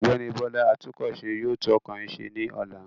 Ọ̀gbẹ́ni Bọ́lá atúnkọ̀ṣe yóò tún ọkọ̀ yín ṣẹ ní ọ̀la.